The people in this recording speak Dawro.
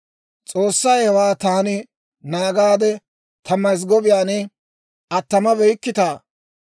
S'oossay, Hawaa taani naagaade Ta mazggobiyaan attamabeyikkitaa?